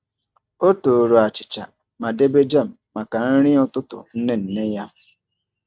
Ọ tooru achịcha ma debe jam maka nri ụtụtụ nne nne ya.